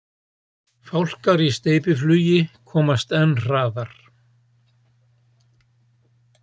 Fálkar í steypiflugi komast enn hraðar.